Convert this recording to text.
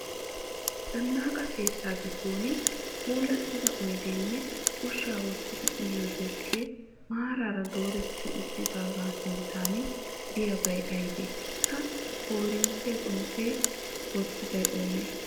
Zannaqa keetta giddon puulattida oyideenne ushsha wottidi uyiyoo deskke maaraara dooretti uttidaagaa sinttan diyaabay ayibee? Ha koorinttiya xomppi wottiday oonee?